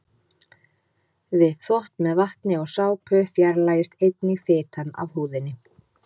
Við þvott með vatni og sápu fjarlægist einnig fitan af húðinni.